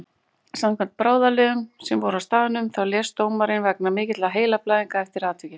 Samkvæmt bráðaliðum sem voru á staðnum þá lést dómarinn vegna mikilla heilablæðinga eftir atvikið.